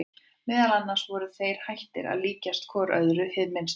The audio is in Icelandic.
Meðal annars voru þeir hættir að líkjast hvor öðrum hið minnsta.